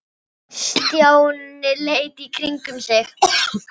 Stjáni leit í kringum sig.